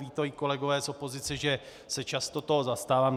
Vědí to i kolegové z opozice, že se často toho zastávám.